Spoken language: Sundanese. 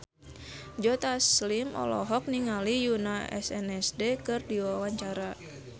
Joe Taslim olohok ningali Yoona SNSD keur diwawancara